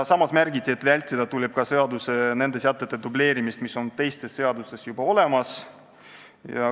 Samas märgiti, et vältida tuleb ka nende seadussätete dubleerimist, mis on teistes seadustes juba olemas.